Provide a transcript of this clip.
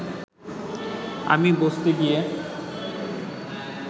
আমি বসতে গিয়ে